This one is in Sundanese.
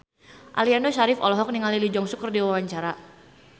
Aliando Syarif olohok ningali Lee Jeong Suk keur diwawancara